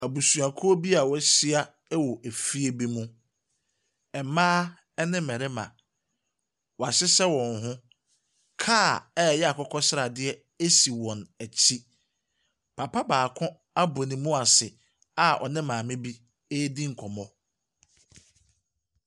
Abusuakuo bi a wɔahyia wɔ fie bi mu. Mmaa ne mmarima, wɔahyehyɛ wɔn ho. Kaa a ɛyɛ akokɔsradeɛ si wɔn akyi. Papa baako abɔ ne mu ase a ɔne maame bi ɛredi nkɔmmɔ.